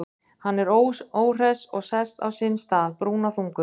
Hann er óhress og sest á sinn stað, brúnaþungur.